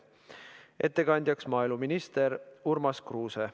Ettekandja on maaeluminister Urmas Kruuse.